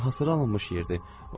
Hasara alınmış yerdir.